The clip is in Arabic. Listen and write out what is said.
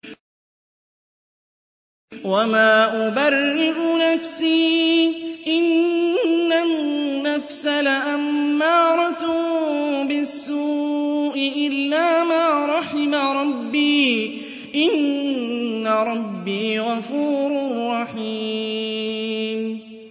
۞ وَمَا أُبَرِّئُ نَفْسِي ۚ إِنَّ النَّفْسَ لَأَمَّارَةٌ بِالسُّوءِ إِلَّا مَا رَحِمَ رَبِّي ۚ إِنَّ رَبِّي غَفُورٌ رَّحِيمٌ